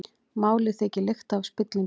Málið þykir lykta af spillingu